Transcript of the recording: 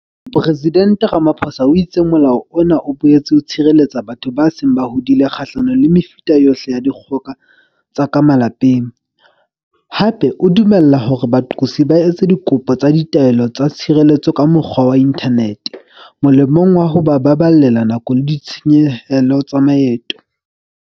Mopresidente Ramaphosa o itse Molao ona o boetse o tshireletsa batho ba seng ba hodile kgahlanong le mefuta yohle ya dikgoka tsa ka malapeng, hape o dumella hore baqosi ba etse dikopo tsa taelo ya tshireletso ka mokgwa wa inthanete, molemong wa ho ba baballela nako le ditshenyehelo tsa maeto.